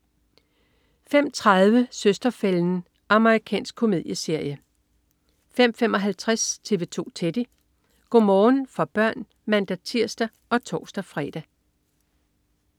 05.30 Søster-fælden. Amerikansk komedieserie 05.55 TV 2 Teddy. Go' morgen for børn (man-tirs og tors-fre)